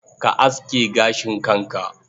Ka aske gashin kanka.